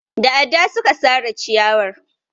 Da adda suka sare ciyarwar.